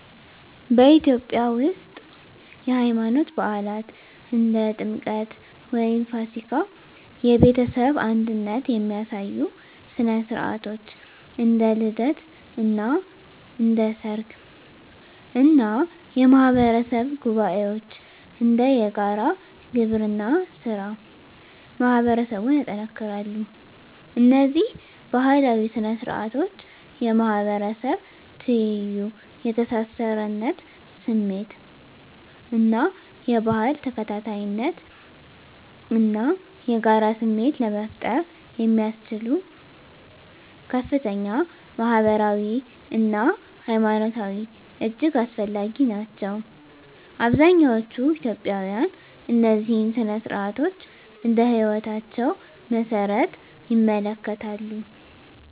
በኢትዮጵያ ውስጥ፣ የሃይማኖት በዓላት (እንደ ጥምቀት ወይም ፋሲካ)፣ የቤተሰብ አንድነት የሚያሳዩ ሥነ ሥርዓቶች (እንደ ልደት እና ሥርዓተ ሰርግ) እና የማህበረሰብ ጉባኤዎች (እንደ የጋራ ግብርና ሥራ) ማህበረሰቡን ያጠናክራሉ። እነዚህ ባህላዊ ሥነ ሥርዓቶች የማህበረሰብ ትይዩ፣ የተሳሳርነት ስሜት እና የባህል ተከታታይነት እና የጋራ ስሜት ለመፍጠር ያስችሉ ከፍተኛ ማህበራዊ አና ሀይማኖታዊ እጅግ አስፈላጊ ናቸው። አብዛኛዎቹ ኢትዮጵያውያን እነዚህን ሥነ ሥርዓቶች እንደ ህይወታቸው መሰረት ይመለከታሉ።